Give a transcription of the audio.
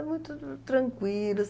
Ah, muito tranquilo,